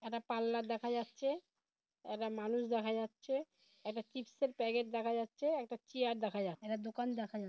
একটা পাল্লার দেখা যাচ্ছে একটা মানুষ দেখা যাচ্ছে একটা চীপসের প্যাকেট দেখা যাচ্ছে একটা চেয়ার দেখা যাচ্ছেএকটা দোকান দেখা যাচ্ছে ।